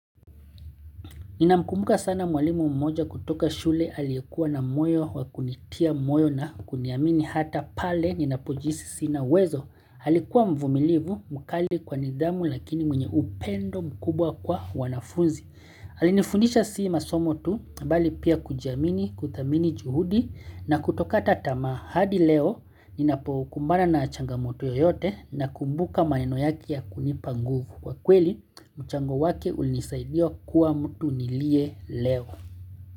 Ninamkumbuka sana mwalimu mmoja kutoka shule aliyekuwa na moyo wa kunitia moyo na kuniamini hata pale ninapojihisi sina uwezo. Alikuwa mvumilivu mkali kwa nidhamu lakini mwenye upendo mkubwa kwa wanafunzi. Alinifundisha si masomo tu bali pia kujiamini kuthamini juhudi na kutokata tamaa hadi leo ninapokumbana na changamoto yoyote na kumbuka maneno yake ya kunipa nguvu. Kwa kweli, mchango wake ulinisaidia kuwa mtu niliye leo.